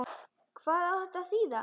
Hvað á þetta að þýða?